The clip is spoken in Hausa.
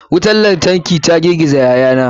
Wutar lantarki ta girgiza yayana.